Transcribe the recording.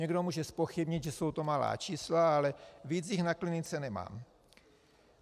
Někdo může zpochybnit, že jsou to malá čísla, ale víc jich na klinice nemám.